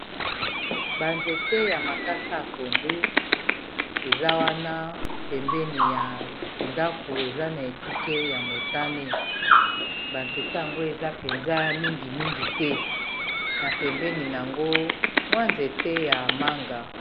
banzete ya makasa ya pondu eza wana pembeni ya ndako, eza na ekuke ya motane banzete yango eza penza mingimingi te na pembeni na yango mwa nzete ya manga